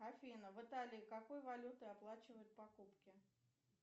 афина в италии какой валютой оплачивают покупки